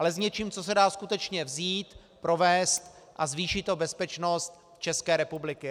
Ale s něčím, co se dá skutečně vzít, provést a zvýší to bezpečnost České republiky.